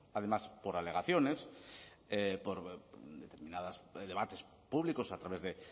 además por alegaciones por determinados debates públicos a través de